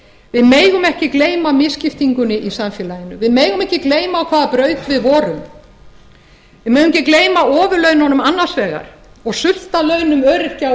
við megum ekki gleyma misskiptingunni í samfélaginu við megum ekki gleyma á hvaða braut við vorum við megum ekki gleyma ofurlaununum annars vegar og sultarlaunum öryrkja og